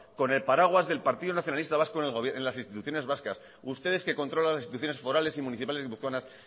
con el paraguas del partido nacionalista vasco en las instituciones vascas ustedes que controlan las instituciones forales y municipales guipuzcoanas